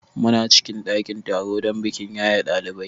Muna cikin ɗakin taro don bikin yaye ɗalibai.